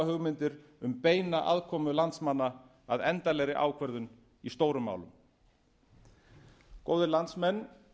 hugmyndir um beina aðkomu landsmanna að endanlegri ákvörðun í stórum málum góðir landsmenn